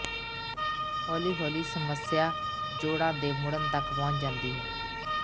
ਹੌਲੀ ਹੌਲੀ ਸਮੱਸਿਆ ਜੋੜਾ ਦੇ ਮੁੜਨ ਤੱਕ ਪਹੁੰਚ ਜਾਂਦੀ ਹੈ